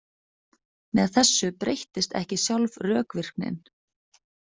Með þessu breyttist ekki sjálf rökvirknin.